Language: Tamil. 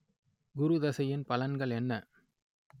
குரு தசையின் பலன்கள் என்ன